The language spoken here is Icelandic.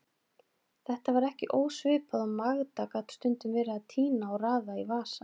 Þetta var ekki ósvipað og Magda gat stundum verið að tína og raða í vasa.